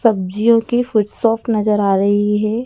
सब्जियों की food shop नजर आ रही है।